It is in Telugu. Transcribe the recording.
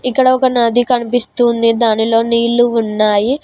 ఇక్కడ ఒక నది కనిపిస్తుంది దానిలో నీళ్లు ఉన్నాయి.